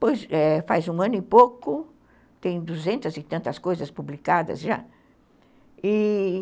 Pois, é, faz um ano e pouco, tem duzentas e tantas coisas publicadas já, e...